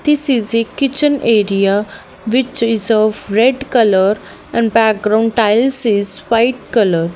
this is a kitchen area which is of red colour and background tiles is white colour.